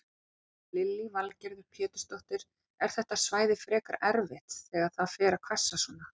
Lillý Valgerður Pétursdóttir: Er þetta svæði frekar erfitt þegar það fer að hvessa svona?